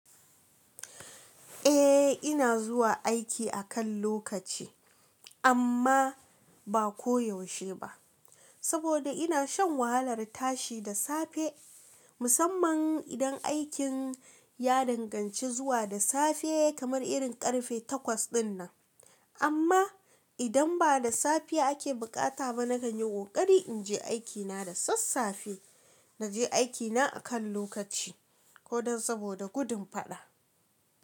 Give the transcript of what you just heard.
Eh ina zuwa aiki akan lokaci amma ba koyaushe ba, saboda ina shan wahalar tashi da safe musamman idan aikin ya danganci zuwa da safe kamar irin karfe takwas dinnan. Amma idan ba da safe ake bukata ba nakan yi kokari in je aiki na da sassafe. Naje aiki na akan lokaci ko dan saboda gudun fada.